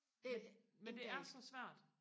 men men det er så svært